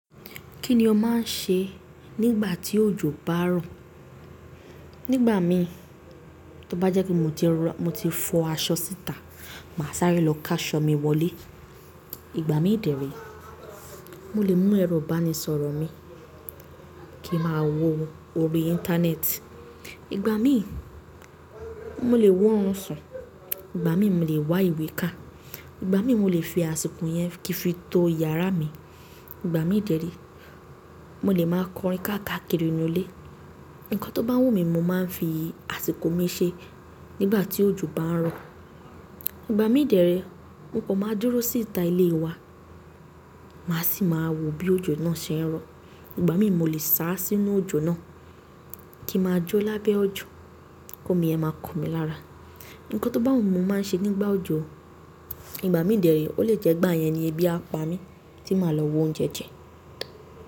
Kí ni o máa ń ṣe nígbà tí òjò bá rọ̀? Nígbà míhìn, tó bá jẹ́ pé mo ti rọ, mo ti fọ aṣọ síta, màá sárẹ́ lọ káṣọ mi wọlé. Ìgbà míhìn dẹ̀ẹ̀ ré, mo lè mú ẹ̀rọ ìbánisọ̀rọ̀ mi kín n máa wo orí i Íńtánẹ́ẹ̀tì. Ìgbà míì, mo lè wórun sùn. Ìgbà míì mo lè wa ìwé kà. Ìgbà míì mo lè fi àsìkò yẹn kin fi to yàrá mi. Ìgbà míì dẹ̀ẹ̀ ré, mo lè máa kọrin káàkàkiri inú ilé. Ǹkan tó bá wù mí, mo máa ń fi àsìkò mi ṣe nígbà tí òjò bá ń rọ̀. Ìgbà míì dẹ̀ẹ̀ ré, mo kàn máa dúró sí ìta ilé e wa, màá sì máa wo bí òjò náà ṣe ń rọ. Ìgbà míì mo lè sá sínú òjò náà kín in ma jó lábẹ́ òjò, kómi ẹ̀ máa kàn mí lára. Ǹkan tó bá wù mi mo máa ń ṣe nígbà òjò. Ìgbà míì dẹ̀ẹ̀ ré, ó lè jẹ́ gbà yẹn ni ẹbí á pa mí tí màá lọ wóúnjẹ jẹ.